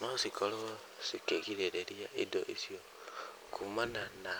no cikorwo cikĩgirĩrĩria indo icio kuumana na